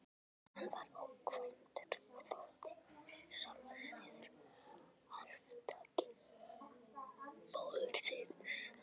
Hann var ókvæntur og þótti sjálfsagður arftaki föður síns.